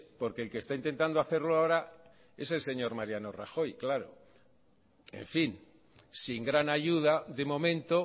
porque el que está intentando hacerlo ahora es el señor mariano rajoy en fin sin gran ayuda de momento